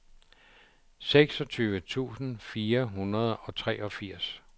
seksogtyve tusind fire hundrede og treogfirs